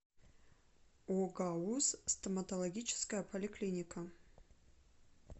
огауз стоматологическая поликлиника